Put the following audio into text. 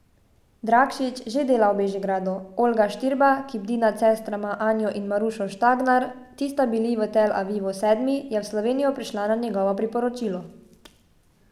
Drakšič že dela v Bežigradu, Olga Štirba, ki bdi nad sestrama Anjo in Marušo Štangar, ti sta bili v Tel Avivu sedmi, je v Slovenijo prišla na njegovo priporočilo.